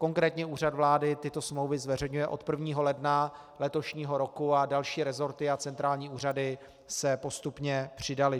Konkrétně Úřad vlády tyto smlouvy zveřejňuje od 1. ledna letošního roku a další resorty a centrální úřady se postupně přidaly.